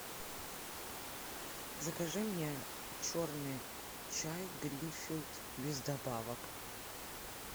закажи мне черный чай гринфилд без добавок